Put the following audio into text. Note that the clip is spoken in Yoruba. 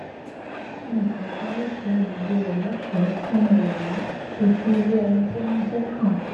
ẹnìkòòkan ló ṣe agbègbè rẹ lóṣòó nínú yàrá láti fi irú ẹni tí wọn jẹ hàn